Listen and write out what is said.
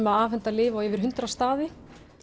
að afhenda lyf á yfir hundrað staði